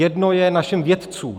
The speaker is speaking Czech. Jedno je našim vědcům.